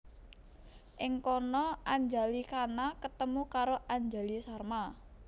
Ing kana Anjali Khana ketemu karo Anjali Sharma